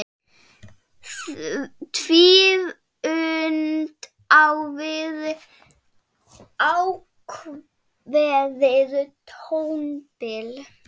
Tvíund á við ákveðið tónbil.